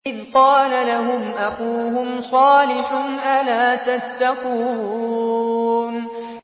إِذْ قَالَ لَهُمْ أَخُوهُمْ صَالِحٌ أَلَا تَتَّقُونَ